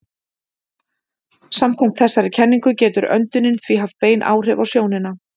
Samkvæmt þessari kenningu getur öndunin því haft bein áhrif á sjónina.